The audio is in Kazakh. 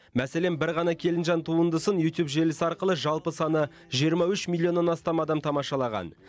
мәселен бір ғана келінжан туындысын ютюб желісі арқылы жалпы саны жиырма үш милионнан астам адам тамашалаған